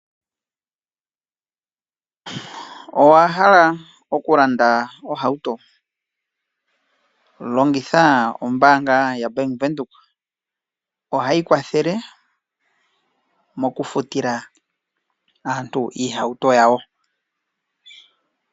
Owa hala oku landa ohauto? Longitha ombaanga ya Bank Windhoek. Ohayi kwathele moku futila aantu iihauto yawo.